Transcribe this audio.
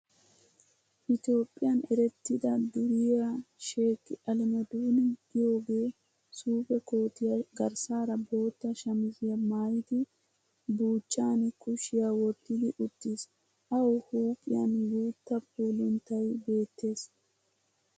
Ethiopian erettida duriyaa Shek Alemodin giyoogee suufe kootiyaa garssaara bootta shamiziya maayidi, buuchchan kushshiya wottidi uttiis. awu huuphiyan guutta puuluntay beettees.